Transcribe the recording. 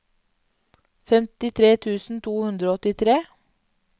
femtitre tusen to hundre og åttitre